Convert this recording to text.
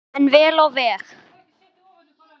En vel á veg.